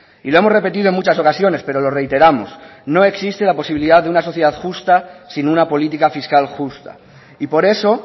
y lo hemos repetido en muchas ocasiones pero lo reiteramos no existe la posibilidad de una sociedad justa sin una política fiscal justa y por eso